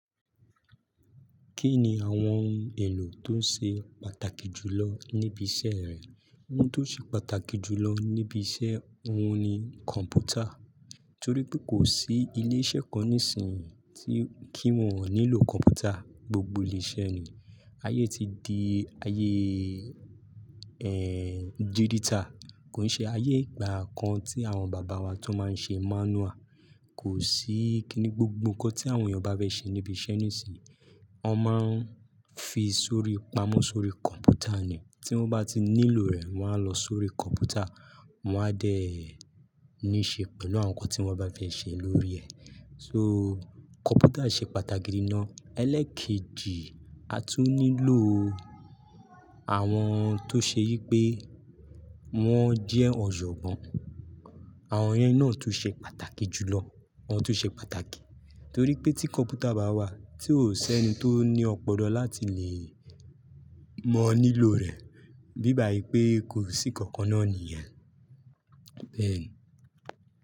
Kí ni àwọn ohun èlò tó ṣe pàtàkì jù lọ níbi iṣẹ́ rẹ? Ohun tó ṣe pàtàkì jù lọ níbi iṣẹ́ wọn ni kọ̀npútà. Torí pé kò sí ilé iṣẹ́ kan nísìnyí tí kí wọ́n ò nílò kọ̀mpútà. Gbogbo ilé iṣẹ́ ni ayé ti di ayé, ẹ́, dígítà. Kò ṣe ayé ìgbà kan tí àwọn bàbá wa tó máa ń ṣe manual. Kò sí kíní, gbogbo nnkan tí àwọn èèyàn bá fẹ́ ṣe níbi iṣẹ́ nísìnyí, wọn máa ń fi sórí, pamọ́ sórí kọ̀mpútà ni. Tí wọ́n bá ti nílò rẹ̀, wọ́n á lọ sórí kọ̀mpútà, wọ́n á dẹ ní ṣe pẹ̀lú àwọn nnkan tí wọ́n bá fẹ́ ṣe lórí ẹ̀. So kọ̀mpútà ṣe pàtàkì nínà. Ẹlẹ́ẹ̀kejì, a tún nílò àwọn tó ṣe yí pé wọ́n jẹ́ ọ̀jọ̀gbọ́n. Àwọn yẹn náà tún ṣe pàtàkì jù lọ. Wọ́n tún ṣe pàtàkì. Torí pé tí kọ̀mpútà bá wà, tí ò ṣẹ́ni tó ní ọ̀polọ̀ láti lè mọ nílò rẹ̀. Bí bàí pé kò sí kankaná nìyàn. Beeni.